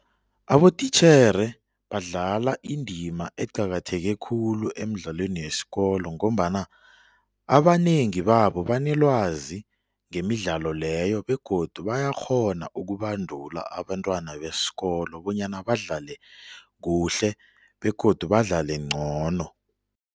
Abotitjhere badlala indima eqakatheke khulu emidlalweni yesikolo ngombana abanengi babo banelwazi ngemidlalo leyo begodu bayakghona ukubandula abantwana besikolo bonyana badlale kuhle begodu badlale ngcono.